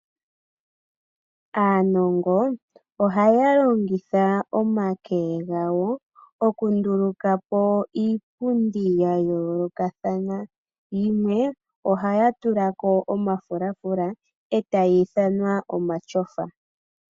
Aanongo ohaya longitha omake gawo okundulukapo iipundi yayoolokathana , yimwe ohaya tulako omafulafula eta yi ithanwa omatyofa.